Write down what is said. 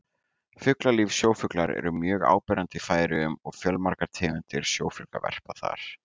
Fuglalíf Sjófuglar eru mjög áberandi í Færeyjum og fjölmargar tegundir sjófugla verpa þar.